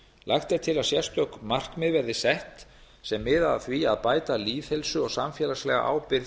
lagt er til að sérstök markmið verði sett sem miða að því að bæta lýðheilsu og samfélagslega ábyrgð